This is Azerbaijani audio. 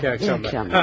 Yaxşı axşamlar.